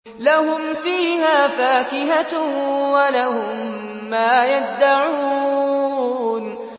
لَهُمْ فِيهَا فَاكِهَةٌ وَلَهُم مَّا يَدَّعُونَ